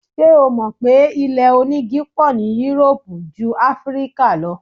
Ṣé o mò pé ilé onígi pọ̀ ní Europe jú Áfíríkà lọ?